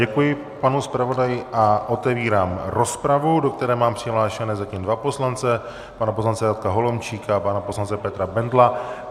Děkuji panu zpravodaji a otevírám rozpravy, do které mám přihlášené zatím dva poslance - pana poslance Radka Holomčíka a pana poslance Petra Bendla.